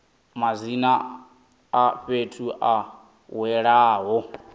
madzina a fhethu a welaho